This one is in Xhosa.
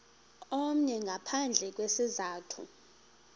omnye ngaphandle kwesizathu